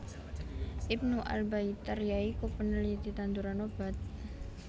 Ibnu Al Baitar ya iku peneliti tanduran obat